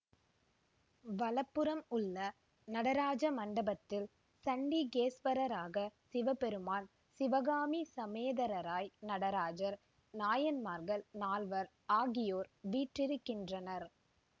வலப்புறம் உள்ள நடராஜ மண்டபத்தில் சண்டிகேஸ்வரராக சிவபெருமான் சிவகாமி சமேதரராய் நடராஜர் நாயன்மார்கள் நால்வர் ஆகியோர் வீற்றிருக்கின்றனர்